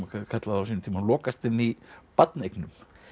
kallað á sínum tíma lokast inn í barneignum